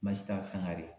Masi t'a san kare